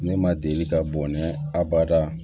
Ne ma deli ka bɔnɛ a bada